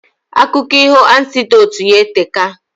Akụko iho anecdotes ya eteka